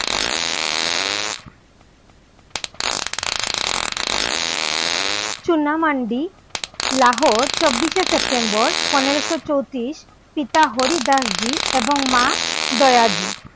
চুনামান্ডি লাহোর চব্বিসে সেপ্টেম্বর পনেরোশো চৌত্রিশ, পিতা হরিদাসজী এবং মা দয়াজী